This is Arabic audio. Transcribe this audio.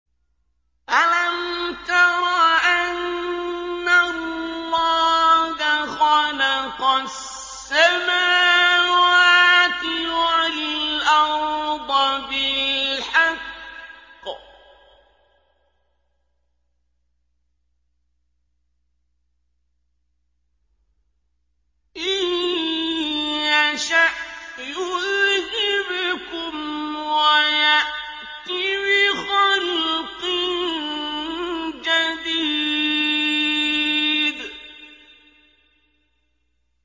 أَلَمْ تَرَ أَنَّ اللَّهَ خَلَقَ السَّمَاوَاتِ وَالْأَرْضَ بِالْحَقِّ ۚ إِن يَشَأْ يُذْهِبْكُمْ وَيَأْتِ بِخَلْقٍ جَدِيدٍ